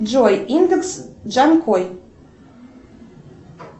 джой индекс джанкой